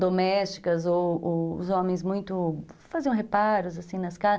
domésticas ou ou os homens muito... faziam reparos, assim, nas casas.